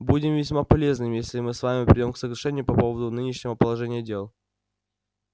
будет весьма полезным если мы с вами придём к соглашению по поводу нынешнего положения дел